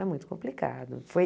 Era muito complicado. Foi